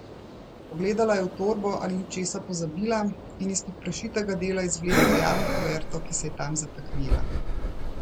Pogledala je v torbo, ali ni česa pozabila, in izpod prešitega dela izvlekla rjavo kuverto, ki se je tam zataknila.